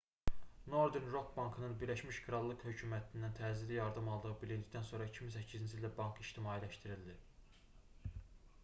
northern rock bankının birləşmiş krallıq hökumətindən təcili yardım aldığı bilindikdən sonra 2008-ci ildə bank ictimailəşdirildi